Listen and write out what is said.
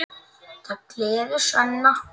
Það gleður Svenna.